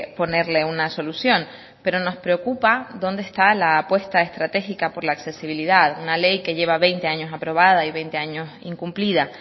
ponerle una solución pero nos preocupa dónde está la puesta estratégica por la accesibilidad una ley que lleva veinte años aprobada y veinte años incumplida